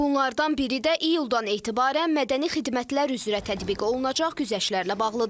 Bunlardan biri də iyuldan etibarən mədəni xidmətlər üzrə tətbiq olunacaq güzəştlərlə bağlıdır.